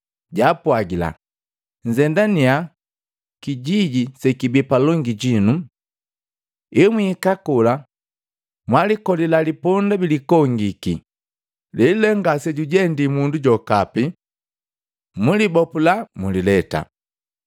Japwagila, “Nzendanya kijiji sekibii palongi jinu. Emwihika kola, mwalikolila liponda bilikongiki, lelu le ngasejujendii mundu jokapi. Mulibopula mulileta.